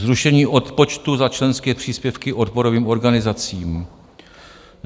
Zrušení odpočtu za členské příspěvky odborovým organizacím.